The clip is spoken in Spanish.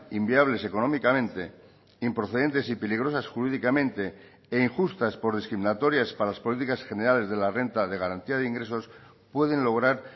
inviables económicamente improcedentes y peligrosas jurídicamente e injustas por discriminatorias para las políticas generales de la renta de garantía de ingresos pueden lograr